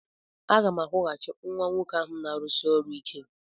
Aga m akwụghachi nwa nwoke ahụ na-arụsi ọrụ ike.